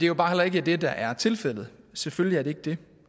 jo bare heller ikke det der er tilfældet selvfølgelig er det ikke det